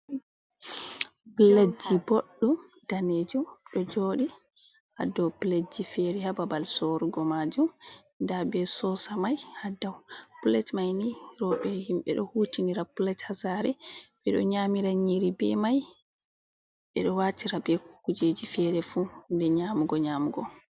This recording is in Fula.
Piletji boɗɗum danejum ɗo joɗi ha dow piletji fere ha babal sorugo majum. Nda be sosa mai ha dow. Pilet mai ni rowɓe himɓe ɗo hutinira plet ha sare, ɓe ɗo nyamira nyiri be mai, ɓe ɗo watira be kujeji fere fu hunde nyamugo-nyamugo.